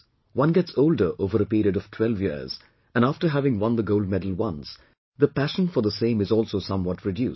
One gets older over a period of 12 years and after having won the gold medal once, the passion for the same is also somewhat reduced